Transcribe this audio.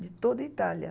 De toda a Itália.